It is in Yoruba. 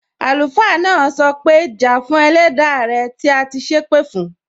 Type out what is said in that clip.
Àlùfáà náà sọ pé, Ja fún Ẹlẹda rẹ tí a ti sépè fún!